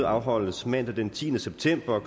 afholdes mandag den tiende september